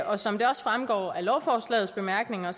og som det også fremgår af lovforslagets bemærkninger